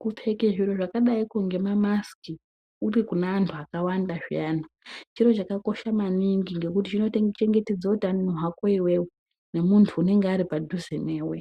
Kupfeke zviro zvakadaiko ngemamasiki uri kune antu akawanda zviyani chiro chakakosha maningi nekuti chinochengetedze utano hwako iwewe nemuntu unenge aripadhuze newe